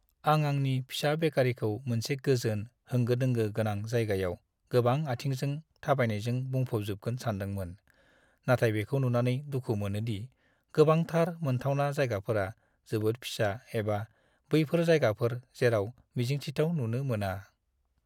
आं आंनि फिसा बेकारीखौ मोनसे गोजोन, होंगो-दोंगो गोनां जायगायाव गोबां आथिंजों थाबायनायजों बुंफबजोबगोन सानदोंमोन, नाथाय बेखौ नुनानै दुखु मोनोदि गोबांथार मोनथावना जायगाफोरा जोबोद फिसा एबा बैफोर जायगाफोर जेराव मिजिंथिथाव नुनो मोना।